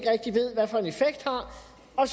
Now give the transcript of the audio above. og